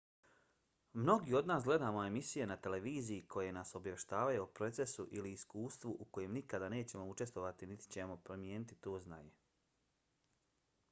mnogi od nas gledamo emisije na televiziji koje nas obavještavaju o procesu ili iskustvu u kojem nikada nećemo učestvovati niti ćemo primijeniti to znanje